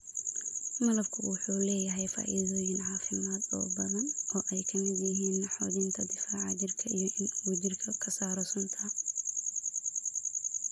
Malabku waxa uu leeyahay faa�iidooyin caafimaad oo badan oo ay ka mid yihiin xoojinta difaaca jidhka iyo in uu jidhka ka saaro sunta.